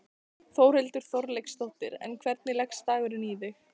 Þórhildur Þorkelsdóttir: En hvernig leggst dagurinn í þig?